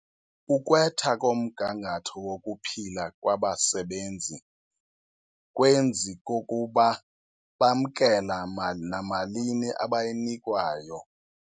Ukwetha komgangatho wokuphila kwabasebenzi kwenzi kukuba bamkela namalini abayinikwayo.